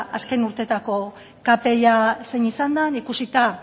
azken urteetako kpia zein izan den ikusita